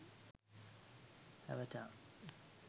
avatar